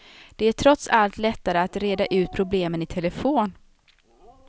Det är trots allt lättare att reda ut problemen i telefon.